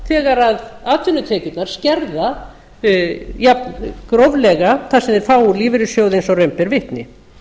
þegar atvinnutekjurnar skerða jafngróflega það sem þeir fá úr lífeyrissjóði eins og raun ber vitni